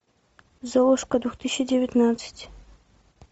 золушка две тысячи девятнадцать